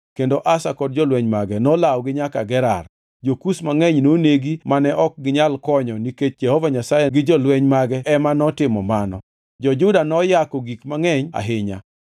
kendo Asa kod jolweny mage nolawogi nyaka Gerar. Jo-Kush mangʼeny nonegi mane ok ginyal konyo nikech Jehova Nyasaye gi jolweny mage ema notimo mano. Jo-Juda noyako gik mangʼeny ahinya.